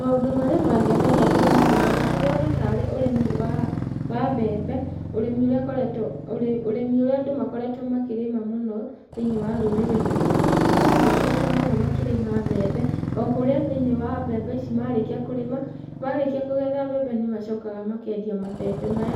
Maũndũ marĩa mangenagia ndĩrona haha, ndĩrona ta arĩ ũrĩmi wa mbembe, ũrĩmi ũrĩa andũ makoretwo makĩrĩma mũno thĩinĩ wa rũrĩrĩ ruitũ. Andũ nĩmakoretwo mũno makĩrĩma mbembe, okũrĩa thĩinĩ wa mbembe ici marĩkia kũrĩma, marĩkia kũgetha mbembe nĩmacokaga makendia mabebe maya,